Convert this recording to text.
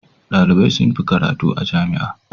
Dalibai sun fi karatu a jami'a.